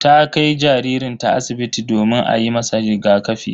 Ta kai jaririnta asibiti domin a yi masa rigakafi.